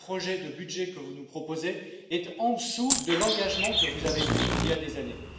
Or, le projet de budget que vous nous proposez est en dessous de l'engagement que vous avez pris il y a des années.